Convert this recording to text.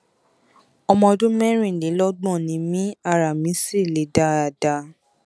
ọmọ ọdún mẹrìnlélọgbọn ni mí ara mi sì le dáadáa